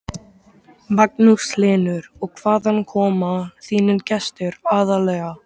Magnús Hlynur: Og hvaðan koma þínir gestir aðallega?